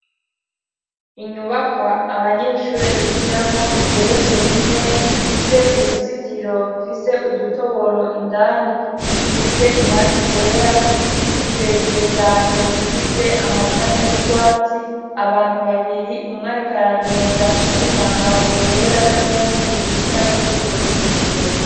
Inyubakwa abanyeshure bigiramwo igeretswe rimwe, ifise uruzitiro rufise udutoboro indani dusize irangi ryera, igiti kirekire cane gifise amashami y'urwatsi, abantu babiri umwe ariko aragenda w'imyambaro yera n'uwundi yicaye kuri urwo ruzitiro.